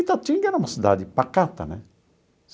Itatinga era uma cidade pacata, né?